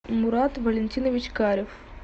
мурат валентинович карев